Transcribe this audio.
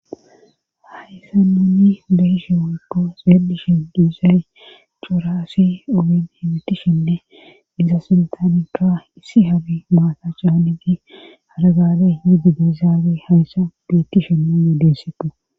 Hayssa nunni behishe wokko seedishin diizay cuuraassi obin hemitishinne iza sintangra issi habi maata caane gi haragaale hididezaabe hayssa beettishenne yedessetu